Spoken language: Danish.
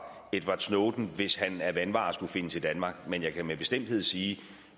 edward snowden hvis han af vanvare skulle finde til danmark men jeg kan med bestemthed sige